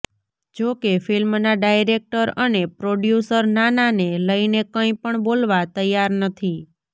જો કે ફિલ્મનાં ડાયરેક્ટર અને પ્રોડ્યૂસર નાનાને લઇને કંઇપણ બોલવા તૈયાર નથી